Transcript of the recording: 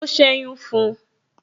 O seyun fun un